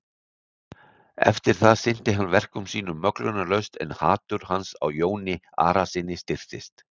Eftir það sinnti hann verkum sínum möglunarlaust en hatur hans á Jóni Arasyni styrktist.